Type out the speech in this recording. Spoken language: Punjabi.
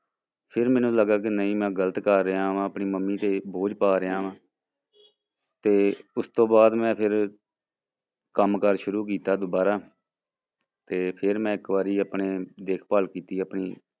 ਫਿਰ ਮੈਨੂੰ ਲੱਗਾ ਕਿ ਨਹੀਂ ਮੈਂ ਗ਼ਲਤ ਕਰ ਰਿਹਾਂ ਵਾਂ ਆਪਣੀ ਮੰਮੀ ਤੇ ਬੋਝ ਪਾ ਰਿਹਾਂ ਤੇ ਉਸ ਤੋਂ ਬਾਅਦ ਮੈਂ ਫਿਰ ਕੰਮ ਕਾਰ ਸ਼ੁਰੂ ਕੀਤਾ ਦੁਬਾਰਾ ਤੇ ਫਿਰ ਮੈਂ ਇੱਕ ਵਾਰੀ ਆਪਣੇ ਦੇਖਭਾਲ ਕੀਤੀ ਆਪਣੀ